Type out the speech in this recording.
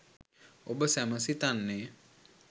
ඔබ සැම සිතන්නේ